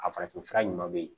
A farafin fura ɲuman bɛ yen